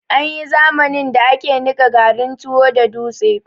Anyi zamanin da ake niƴa garin tuwo da dutse